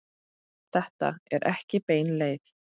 Þetta er ekki bein leið.